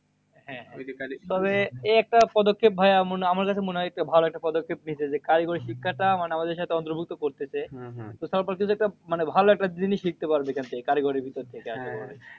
তবে এই একটা পদক্ষেপ ভাইয়া আমার কাছে মনে হয় একটা ভালো একটা পদক্ষেপ নিয়েছে যে, কারিগরি শিক্ষাটা মানে আমাদের সাথে অন্তর্ভুক্ত করতেছে। তো একটা মানে ভালো একটা জিনিস শিখতে পারবে এখন থেকে কারিগরির ভিতর থেকে।